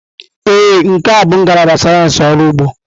Ee, nke a bụ ngalaba sayensị ọrụ ugbo.